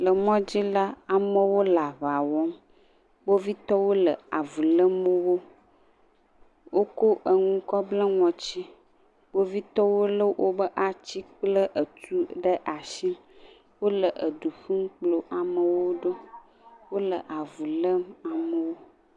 Le mɔ dzi la, amewo le aŋa wɔm. Kpovitɔwo le avu lém wo. Wokɔ enu kɔ ble ŋɔti. Kpovitɔwo lé woƒe ati kple tu ɖe asi, wole ɖu ƒum kplɔ amewo ɖo. wole avu lém amewo.